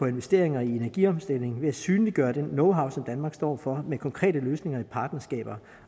investeringer i energiomstilling ved at synliggøre den knowhow som danmark står for med konkrete løsninger i partnerskaber